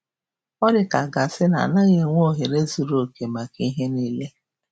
Ọ dị ka a ga-asị na a gaghị enwe ohere zuru oke maka ihe niile.